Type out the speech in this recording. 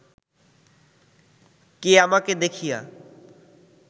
কে আমাকে দেখিয়া